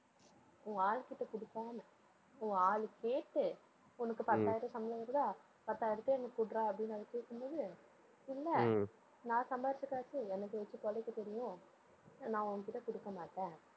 உன் ஆளுகிட்ட கொடுக்காமல் உன் ஆளு கேட்டு உனக்கு பத்தாயிரம் சம்பளம் வருதா பத்தாயிரத்தை எனக்கு கொடுடா அப்படின்னு அவ கேட்கும்போது இல்லை நான் சம்பாதிச்ச காசு எனக்கு வச்சு பிழைக்க தெரியும். நான் உன்கிட்ட கொடுக்க மாட்டேன்.